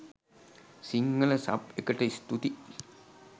Sinhala sub එකට ස්තූති.